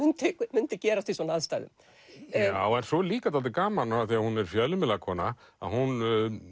mundi gerast í svona aðstæðum já en svo er líka dálítið gaman af því hún er fjölmiðlakona að hún